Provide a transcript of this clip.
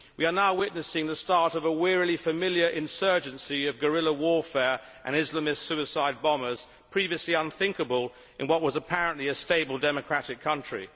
We are now witnessing the start of a wearingly familiar insurgency of guerrilla warfare and Islamist suicide bombers, previously unthinkable in what was apparently a stable democratic country.